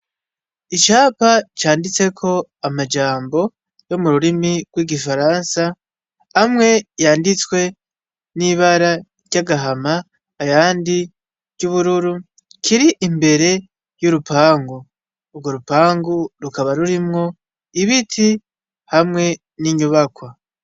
Icapa canditseko amajambo yo mu rurimi rw'igifaransa, amwe yanditswe n'ibara ry'agahama, ayandi ry'ubururu, kiri imbere y'urupangu. Urwo rupangu rukaba rurimwo ibiti hamwe n'inyubakwa.